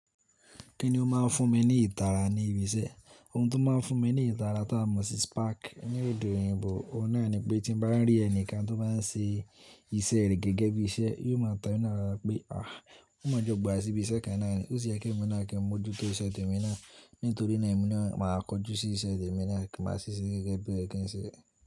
Kíni ó máa fún mi ní ìtara ní ibi iṣẹ́? Ohun tó máa fún mi ní ìtara tá mọ̀ sí spark. Ní ede oyìnbo ọ̀un nà ni pé tí mo bá rí ẹnìkan tó bá ń ṣe iṣẹ́ rẹ̀ gẹ́gẹ́ bí iṣẹ́, yóò máa ta mí lára pé àá, wón mo jọ gbàw síbi iṣẹ́ kan náà ni. Ó sì yẹ́ kí èmi máa kí n mójú tó iṣẹ́ tèmi náà. Nitorinaa, emi naa maa koju si ise temi naa, ki maa si se gege bo se ye kin se.